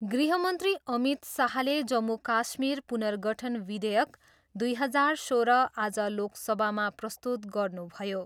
गृहमन्त्री अमित शाहले जम्मू काश्मीर पुनर्गठन विधेयक दुई हजार सोह्र आज लोकसभामा प्रस्तुत गर्नुभयो।